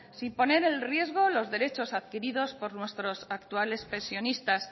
sin poner en riesgo los derechos adquiridos por nuestros actuales pensionistas